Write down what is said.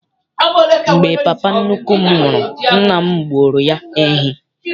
Mgbe papa nnukwu m nwụrụ, nna m gbuoro ya ehi.